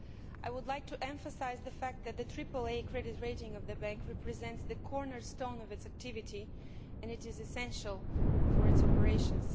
I would like to emphasise the fact that the AAA credit rating of the bank represents the cornerstone of its activity and is essential for its operations.